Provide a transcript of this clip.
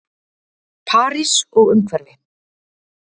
París og umhverfi.